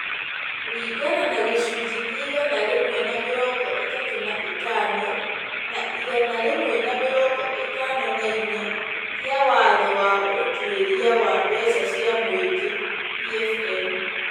kũringana na gĩcunjĩ kĩa igana rĩmwe na mĩrongo ĩtatũ na ithano na igana rĩmwe na mĩrongo ĩtano na inya kĩa watho wa ũtuĩria wa mbeca cia mũingĩ (PFM) .